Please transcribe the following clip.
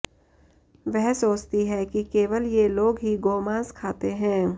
वह सोचती है कि केवल ये लोग ही गोमांस खाते हैं